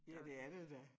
Ja det er det da